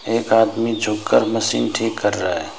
एक आदमी झुक कर मशीन ठीक कर रहा है।